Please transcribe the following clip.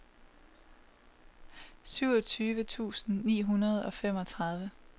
syvogtyve tusind ni hundrede og femogtredive